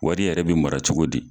Wari yɛrɛ bɛ mara cogo di.